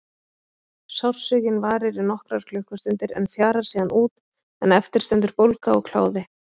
Sársaukinn varir í nokkrar klukkustundir en fjarar síðan út en eftir stendur bólga og kláði.